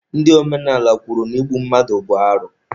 Ndị omenala kwuru na igbu mmadụ bụ arụ